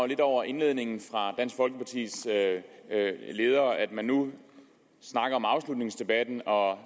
lidt over indledningen fra dansk folkepartis leder at man nu snakker om afslutningsdebatten og